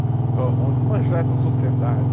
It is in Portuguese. Vamos desmanchar essa sociedade.